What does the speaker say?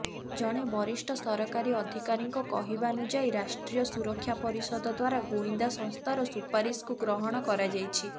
ଜଣେ ବରିଷ୍ଠ ସରକାରୀ ଅଧିକାରୀଙ୍କ କହିବାନୁଯାୟୀ ରାଷ୍ଟ୍ରୀୟ ସୁରକ୍ଷା ପରିଷଦ ଦ୍ୱାରା ଗୁଇନ୍ଦା ସଂସ୍ଥାର ସୁପାରିସକୁ ଗ୍ରହଣ କରାଯାଇଛି